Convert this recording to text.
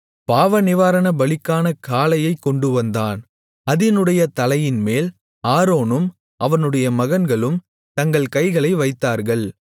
பாவநிவாரணபலிக்கான காளையைக் கொண்டுவந்தான் அதினுடைய தலையின்மேல் ஆரோனும் அவனுடைய மகன்களும் தங்கள் கைகளை வைத்தார்கள்